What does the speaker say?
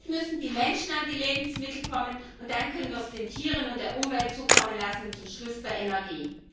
Erst müssen die Menschen an die Lebensmittel kommen, und dann können wir es den Tieren und der Umwelt zukommen lassen und zum Schluss der Energie.